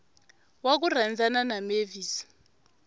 wa ku rhandzana na mavis